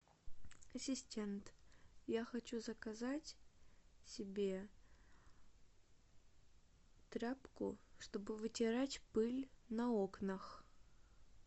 ассистент я хочу заказать себе тряпку чтобы вытирать пыль на окнах